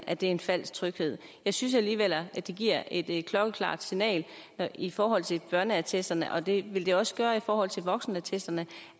at det er en falsk tryghed jeg synes alligevel at det giver et klokkeklart signal i forhold til børneattesterne og det ville det også gøre i forhold til voksenattesterne